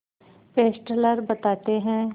Fessler बताते हैं